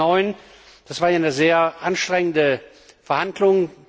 2009. Das war eine sehr anstrengende Verhandlung.